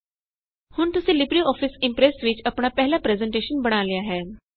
ਹੁਣ ਤੁਸੀ LibreOffice Impress ਵਿੱਚ ਆਪਣਾ ਪਹਿਲਾ ਪਰੈੱਜ਼ਨਟੇਸ਼ਨ ਬਣਾ ਲਿਆ ਹੈ